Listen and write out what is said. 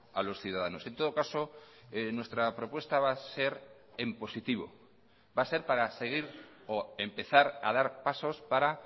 a los ciudadanos en todo caso nuestra propuesta va a ser en positivo va a ser para seguir o empezar a dar pasos para